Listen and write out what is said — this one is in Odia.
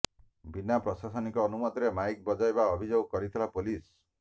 ବିନା ପ୍ରଶାସନିକ ଅନୁମତିରେ ମାଇକ୍ ବଜାଇବା ଅଭିଯୋଗ କରିଥିଲା ପୋଲିସ